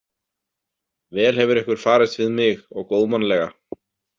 Vel hefur ykkur farist við mig og góðmannlega.